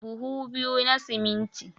Buhu biyu na siminti